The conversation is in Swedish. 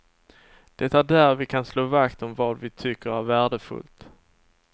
Det är där vi kan slå vakt om vad vi tycker är värdefullt.